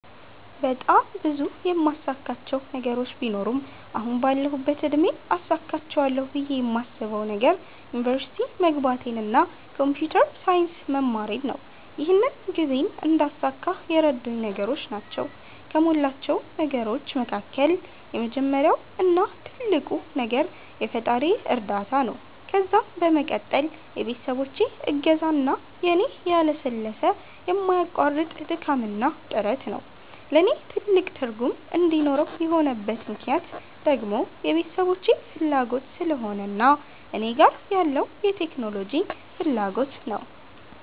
በጣም ብዙ የማሳካቸው ነገሮች ቢኖሩም አሁን ባለሁበት እድሜ አሳክቸዋለሁ ብየ የማስበዉ ነገር ዩኒቨርሲቲ መግባቴን እና ኮንፒተር ሳይንስ መማሬን ነው። ይህንን ግቤን እንዳሳካ የረዱኝ ነገሮች ናቸዉ ከሞላቸው ነገሮች መካከል የመጀመሪያው እና ትልቁ ነገር የፈጣሪየ እርዳታ ነዉ ከዛም በመቀጠል የቤተሰቦቼ እገዛ እና የኔ ያለሰለሰ የማያቋርጥ ድካምና ጥረት ነዉ። ለኔ ትልቅ ትርጉም እንዲኖረው የሆነበት ምክነያት ደግሞ የቤተሰቦቼ ፋላጎት ስለሆነ እና እኔ ጋር ያለዉ የቴክኖሎጂ ፋላጎት ነዉ።